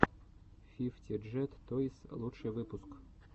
фифти джет тойс лучший выпуск